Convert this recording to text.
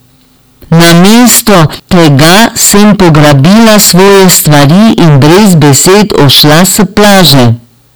Namesto tega sem pograbila svoje stvari in brez besed odšla s plaže.